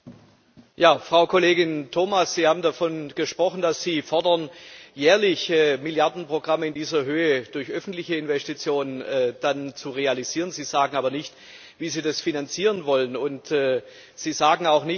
Frau Kollegin Thomas, Sie haben davon gesprochen, dass Sie fordern, dass jährliche Milliardenprogramme in dieser Höhe durch öffentliche Investition realisiert werden, Sie sagen aber nicht, wie Sie das finanzieren wollen, und Sie sagen auch nicht, dass z.